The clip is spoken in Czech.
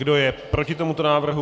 Kdo je proti tomuto návrhu?